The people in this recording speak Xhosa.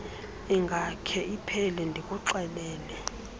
ingakhe iphele ndikuxelele